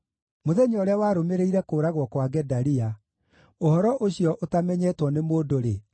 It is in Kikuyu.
Mũthenya ũrĩa warũmĩrĩire kũũragwo kwa Gedalia, ũhoro ũcio ũtamenyetwo nĩ mũndũ-rĩ,